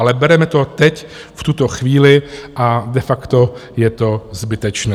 Ale bereme to teď v tuto chvíli a de facto je to zbytečné.